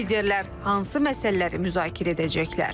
Liderlər hansı məsələləri müzakirə edəcəklər?